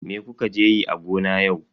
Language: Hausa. Me kuka je yi a gona yau?